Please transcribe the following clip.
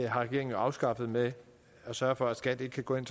har regeringen afskaffet ved at sørge for at skat ikke kan gå ind